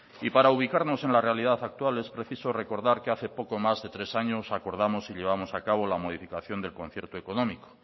y para ubicarnos en la realidad actual es preciso recordar que hace poco más de tres años acordamos y llevamos a cabo la modificación del concierto económico